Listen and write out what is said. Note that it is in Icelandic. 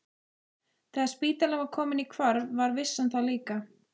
Þegar spítalinn var kominn í hvarf var vissan það líka.